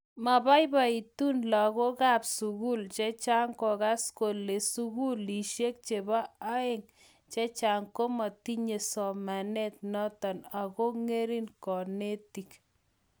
mabaibaitun lagookab sugul chechang kongas kole sugulishek chebo aeng chechang komatinye somanet noto ago ngering konetik